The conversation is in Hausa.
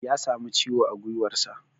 Ya samu ciwo a gwiwarsa.